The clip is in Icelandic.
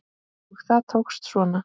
Og það tókst svona!